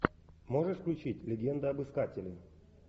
можешь включить легенда об искателе